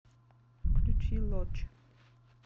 включи лоч